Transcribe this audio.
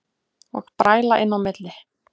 Og bræla inn í milli.